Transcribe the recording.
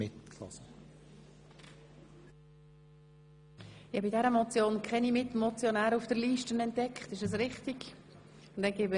Ich sehe keine weiteren Mitmotionäre auf der Rednerliste.